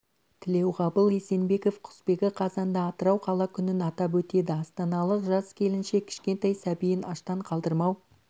тілеуғабыл есенбеков құсбегі қазанда атырау қала күнін атап өтеді астаналық жас келіншек кішкентай сәбиін аштан қалдырмау